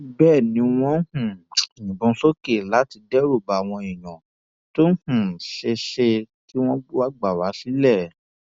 bẹẹ ni wọn ń um yìnbọn sókè láti dẹrù bá àwọn èèyàn tó um ṣeé ṣe kí wọn wáá gbà wá sílé